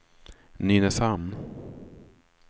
Nynäshamn